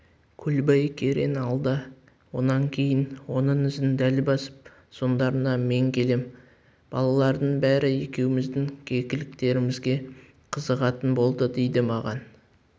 көлбай керең алда онан кейін оның ізін дәл басып соңдарынан мен келем балалардың бәрі екеуміздің кекіліктерімізге қызығатын болды дейді маған